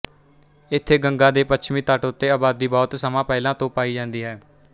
ਇੱਥੇ ਗੰਗਾ ਦੇ ਪੱਛਮੀ ਤਟ ਉੱਤੇ ਆਬਾਦੀ ਬਹੁਤ ਸਮਾਂ ਪਹਿਲਾਂ ਤੋਂ ਪਾਈ ਜਾਂਦੀ ਹੈ